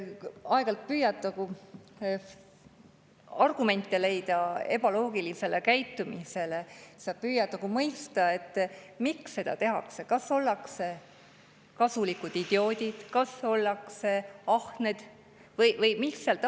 Aeg-ajalt püüad argumente leida ebaloogilise käitumise, püüad mõista, miks seda tehakse, kas ollakse kasulikud idioodid, kas ollakse ahned või mis seal taustal on.